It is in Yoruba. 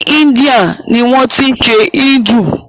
Ni Índia ni wọ́n tí ń ṣe Hindu.